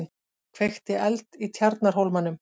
Kveikti eld í Tjarnarhólmanum